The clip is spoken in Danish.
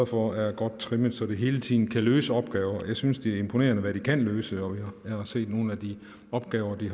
for er godt trimmet så de hele tiden kan løse opgaver jeg synes det er imponerende hvad de kan løse jeg har set nogle af de opgaver de